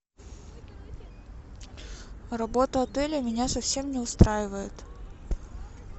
работа отеля меня совсем не устраивает